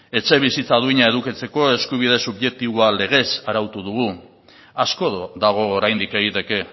etxebizitza duina edukitzeko eskubide subjektiboa legez arautu dugu asko dago oraindik egiteke